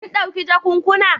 Kun dauki jakunkuna?